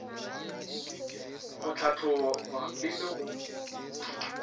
go hlahloba e le go